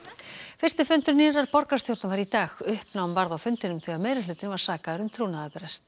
fyrsti fundur nýrrar borgarstjórnar var í dag uppnám varð á fundinum þegar meirihlutinn var sakaður um trúnaðarbrest